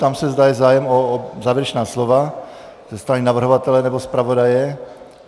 Ptám se, zda je zájem o závěrečná slova ze strany navrhovatele nebo zpravodaje.